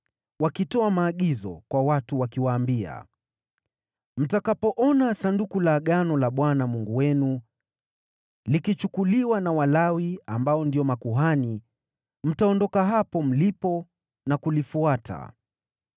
wakitoa maagizo kwa watu, wakiwaambia: “Mtakapoona Sanduku la Agano la Bwana Mungu wenu, likichukuliwa na Walawi ambao ndio makuhani, mtaondoka hapo mlipo na kulifuata.